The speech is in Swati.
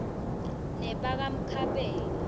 nebakamkhabela